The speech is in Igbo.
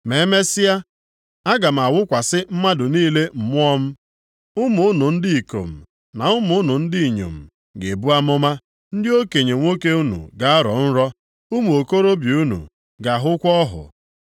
“Ma emesịa, aga m awụkwasị mmadụ niile Mmụọ m. Ụmụ unu ndị ikom, na ụmụ unu ndị inyom ga-ebu amụma. Ndị okenye nwoke unu ga-arọ nrọ. Ụmụ okorobịa unu ga-ahụkwa ọhụ.